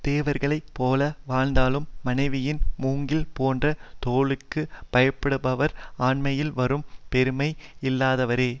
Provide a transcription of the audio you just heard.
தேவர்களைப் போல வாழ்ந்தாலும் மனைவியின் மூங்கில் போன்ற தோளுக்குப் பய படுபவர் ஆண்மையால் வரும் பெருமை இல்லாதவரே